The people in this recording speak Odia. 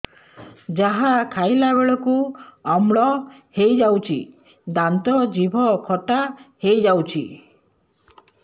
ଯାହା ଖାଇଲା ବେଳକୁ ଅମ୍ଳ ହେଇଯାଉଛି ଦାନ୍ତ ଜିଭ ଖଟା ହେଇଯାଉଛି